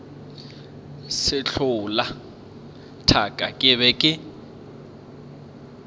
sehlola thaka ke be ke